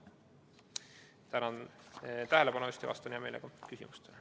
Tänan tähelepanu eest ja vastan hea meelega küsimustele.